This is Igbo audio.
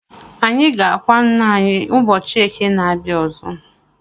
Anyị ga-akwa ńnà anyị ụbọchị eke na-abia ọzọ.